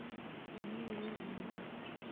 мелеуза